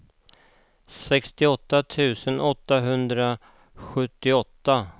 sextioåtta tusen åttahundrasjuttioåtta